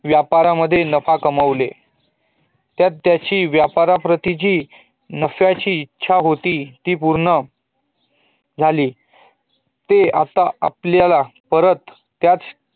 व्यापरा मध्ये नफा कमवले तर त्याची व्यापारा प्रति जी नफ्याची इच्छा होती ती पूर्व झाली ते आता आपल्याला परत त्याचं